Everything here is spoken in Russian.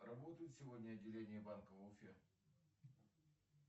работает сегодня отделение банка в уфе